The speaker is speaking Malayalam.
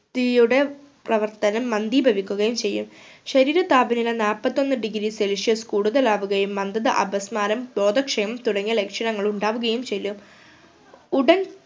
പ്രവർത്തനം മന്ദീപവിക്കുകയും ചെയ്യും ശരീര താപനില നാപ്പത്തൊന്ന് degree celsius കൂടുതലാവുകയും മന്ദത അപസ്മാരാം ബോധക്ഷയം തുടങ്ങിയ ലക്ഷണങ്ങൾ ഉണ്ടാവുകയും ചെയ്യും ഉടൻ